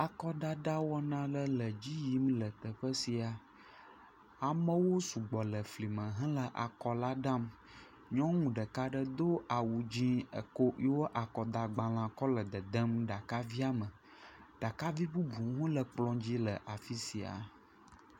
Akɔdada wɔna aɖe le dzi yim le teƒe sia. Amewo sugbɔ le fli me hele akɔ la dam. Nyɔnu ɖeka aɖe do awu dzɛ̃ eko yewo akɔdagbalẽa kɔ le dedem ɖakavia me. Ɖakavi bubuwo hã le kplɔ̃ dzi le afi sia.